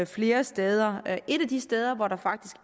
flere steder et af de steder hvor der faktisk